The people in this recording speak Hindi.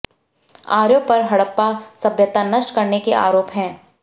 आर्यों पर हड़प्पा सभ्यता नष्ट करने के आरोप हैं